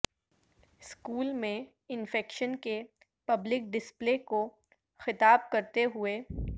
school میں infection کے public display کو خطاب کرتے ہوئے